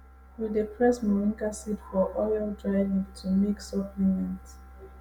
we dey press moringa seed for oil dry leaf to make supplement